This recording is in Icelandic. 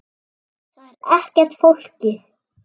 Það er ekkert flókið.